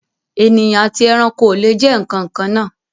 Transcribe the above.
Ènìyàn àti ẹranko o le jẹ nkankan naa.